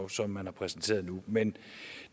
som man har præsenteret nu men